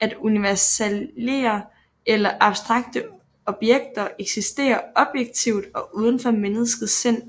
at universalier eller abstrakte objekter eksisterer objektivt og udenfor menneskets sind